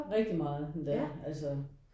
Rigtig meget endda altså